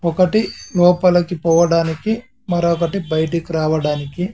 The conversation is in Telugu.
ఒకటి లోపలికి పోవడానికి మరో ఒకటి బయటకి రావడానికి.